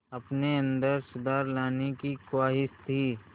अपने अंदर सुधार लाने की ख़्वाहिश थी